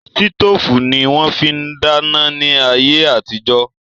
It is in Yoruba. Sítòfù ni wón fi ń dáná ní ayé àtijó